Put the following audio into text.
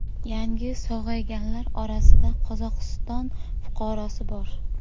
Yangi sog‘ayganlar orasida Qozog‘iston fuqarosi bor.